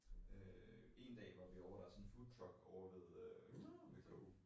Øh en dag var vi ovre der sådan en foodtruck ovre ved øh ved KU